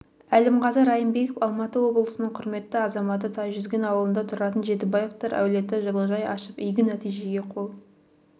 әлімғазы райымбеков алматы облысының құрметті азаматы тайжүзген ауылында тұратын жетібаевтар әулеті жылыжай ашып игі нәтижеге қол